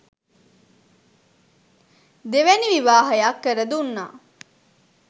දෙවැනි විවාහයක් කරදුන්නා